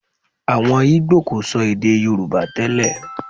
Àwọn ìgbò kò sọ èdè Yorùbá tẹ́lẹ̀